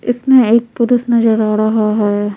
इसमें एक पुरुष नजर आ रहा है।